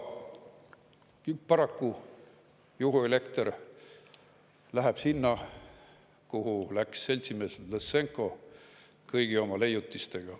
Ja paraku juhuelekter läheb sinna, kuhu läks seltsimees … kõigi oma leiutistega.